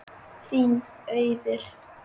Þín Auður.